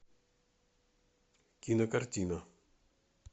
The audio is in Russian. кинокартина